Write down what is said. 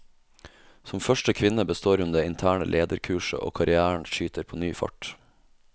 Som første kvinne består hun det interne lederkurset, og karrièren skyter på ny fart.